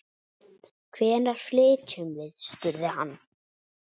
Hvenær flytjum við? spurði hann.